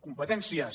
competències